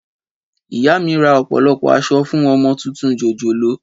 Ìyá mi rà ọ̀pọ̀lọpọ̀ aṣọ fún ọmọ tuntun jòjòló